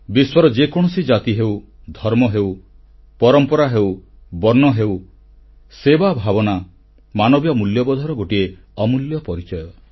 ବିଶ୍ୱର ଯେକୌଣସି ଜାତି ହେଉ ଧର୍ମ ହେଉ ପରମ୍ପରା ହେଉ ବର୍ଣ୍ଣ ହେଉ ସେବା ଭାବନା ମାନବୀୟ ମୂଲ୍ୟବୋଧର ଗୋଟିଏ ଅମୂଲ୍ୟ ପରିଚୟ